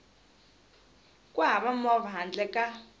ku hava movha handle ka